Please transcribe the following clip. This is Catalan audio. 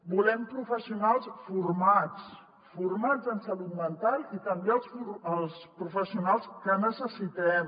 volem professionals formats formats en salut mental i també els professionals que necessitem